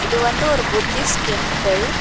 இது வந்து ஒரு புத்திஸ்ட் டெம்பிள் .